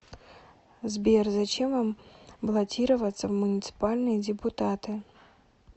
сбер зачем вам баллотироваться в муниципальные депутаты